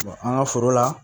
an ka foro la